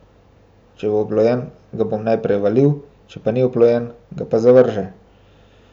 Če bo oplojen, ga bom naprej valil, če pa ni oplojen, se pa zavrže.